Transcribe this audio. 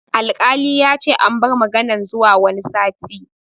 Alkali yace an bar maganan zuwa wani satin